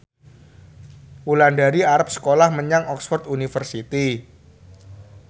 Wulandari arep sekolah menyang Oxford university